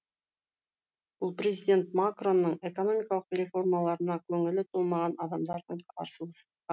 бұл президент макронның экономикалық реформаларына көңілі толмаған адамдардың қарсылығы